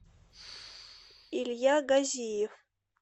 илья газиев